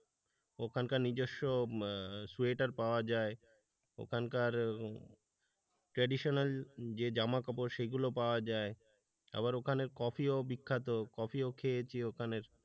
ওখানকার নিজস্ব সোয়েটার পাওয়া যায় ওখানকার traditional জামা কাপড় সেই এগুলো পাওয়া যায় আবার ওখানে কফি ও বিখ্যাত কফিও খেয়েছি ওখানের।